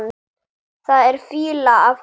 Það er fýla af honum.